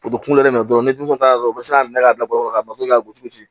kunkolo de bɛ minɛ dɔrɔn ni denmisɛnw taara dɔrɔn u bɛ se k'a minɛ k'a bila baro la ka bɔ ka gosi